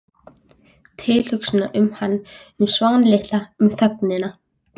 Tilhugsuninni um hann- um Svan litla- um þögnina.